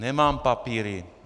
Nemám papíry.